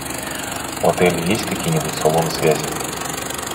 в отеле есть какие нибудь салоны связи